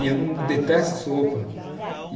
E eu não... detesto sopa.